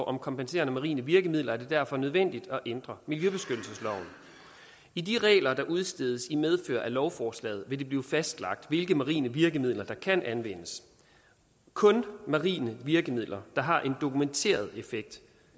om kompenserende marine virkemidler er det derfor nødvendigt at ændre miljøbeskyttelsesloven i de regler der udstedes i medfør af lovforslaget vil det blive fastlagt hvilke marine virkemidler der kan anvendes kun marine virkemidler der har en dokumenteret effekt